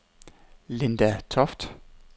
Linda Toft